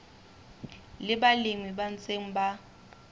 le balemi ba ntseng ba